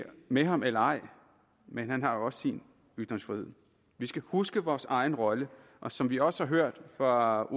med ham eller ej men han har også sin ytringsfrihed vi skal huske vores egen rolle og som vi også har hørt fra